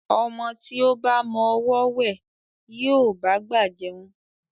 Ọmọ tí ó ba mọ ọwọ́ wẹ̀, yóò bá'gbà jẹun.